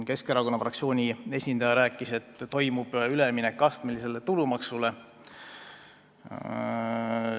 Keskerakonna fraktsiooni esindaja rääkis, et toimub üleminek astmelisele tulumaksule.